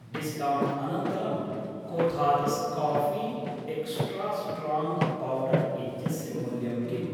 Discount अनन्तरं कोथादस् coffee extra strong powder इत्यस्य मूल्यं किम्?